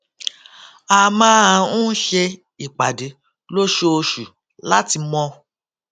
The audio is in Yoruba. a máa ń ṣe ìpàdé lóṣooṣù láti mọ